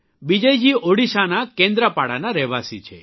બિજયજી ઓડિશાના કેન્દ્રપાડાના રહેવાસી છે